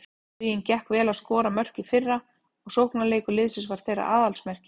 Huginn gekk vel að skora mörk í fyrra og sóknarleikur liðsins var þeirra aðalsmerki.